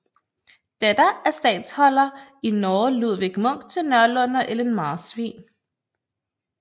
Datter af statholder i Norge Ludvig Munk til Nørlund og Ellen Marsvin